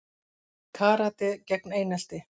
Karate gegn einelti